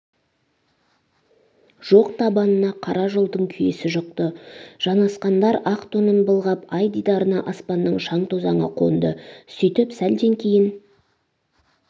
жоқ табанына қара жолдың күйесі жұқты жанасқандар ақ тонын былғап ай дидарына аспанның шаң-тозаңы қонды сөйтіп сәлден кейн